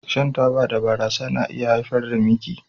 Shan taba da barasa na iya haifar da miki